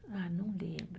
Ah, não lembro.